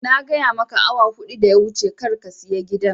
Na gaya maka awa huɗu da ya wuce kar ga saya gidan